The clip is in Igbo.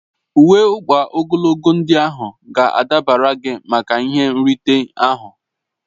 Uwe ọkpa ogologo ndị ahụ ga-adabara gị maka ihe nrite ahụ